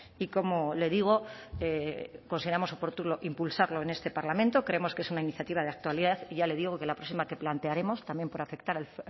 y como le digo consideramos oportuno impulsarlo en este parlamento creemos que es una iniciativa de actualidad ya le digo que la próxima que plantearemos también por afectar al